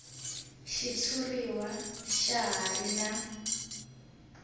xitshuriwa xa ha ri na